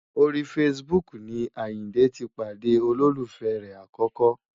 Orí Facebook ni Àyìndé ti pàdé olólùfẹ́ rẹ̀ àkọ́kọ́.